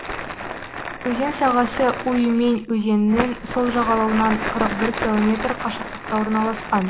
өзен сағасы уймень өзенінің сол жағалауынан қырық бір километр қашықтықта орналасқан